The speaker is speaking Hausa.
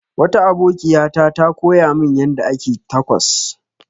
Wata abokiya ta ta koya min yanda ake tacos.